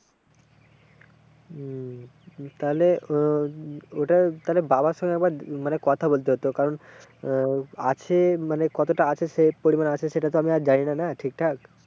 হম তাহলে ওটা তাহলে বাবার সাথে একবার মানে কথা বলতে হতো কারণ আহ আছে মানে কতটা আছে সে পরিমাণ আছে সেটা তো আমি আর জানিনা না ঠিকঠাক।